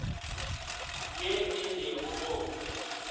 ye e le go go